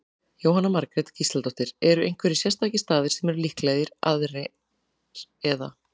Jóhanna Margrét Gísladóttir: Eru einhverjir sérstakir staðir sem eru líklegri aðrir, eða?